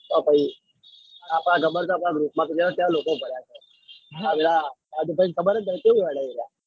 તો પાહિ આપડા ગબડતા લોક